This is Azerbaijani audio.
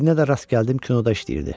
Birinə də rast gəldim, kinoda işləyirdi.